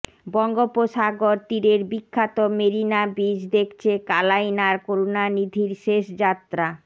বঙ্গোপসাগর তীরের বিখ্যাত মেরিনা বিচ দেখছে কালাইনার করুণানিধির শেষ যাত্রা